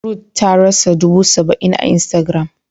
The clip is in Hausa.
Ruth tarasa dubu saba-in a instagram.